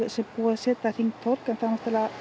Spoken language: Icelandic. er búið að setja hringtorg en það